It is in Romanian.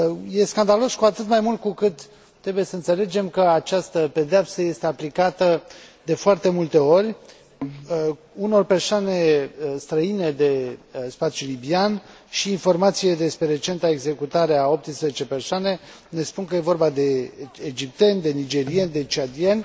Este scandalos cu atât mai mult, cu cât trebuie să înțelegem că această pedeapsă este aplicată, de foarte multe ori, unor persoane străine de spațiul libian și informațiile despre recenta executare a 18 persoane ne spun că este vorba de egipteni, de nigerieni, de ciadieni.